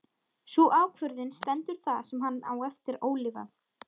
Sú ákvörðun stendur það sem hann á eftir ólifað.